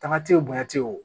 Taama te o bonya te ye wo